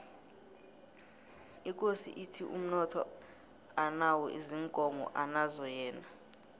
ikosi ithi umnotho anawo ziinkomo anazo yena